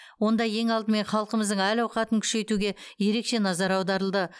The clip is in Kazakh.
онда ең алдымен халқымыздың әл ауқатын күшейтуге ерекше назар аударылды